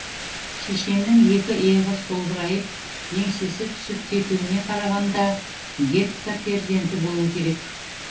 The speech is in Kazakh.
шешеннің екі иығы солбырайып еңсесі түсіп кетуіне қарағанда гетто перзенті болу керек